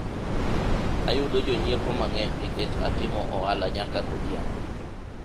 ayudo jonyiepo mang'eny nikech atimo ohala nyaka godhiambo